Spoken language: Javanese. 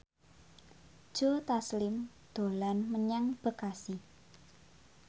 Joe Taslim dolan menyang Bekasi